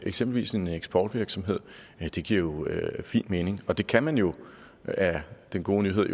eksempelvis en eksportvirksomhed det giver jo fint mening og det kan man jo er den gode nyhed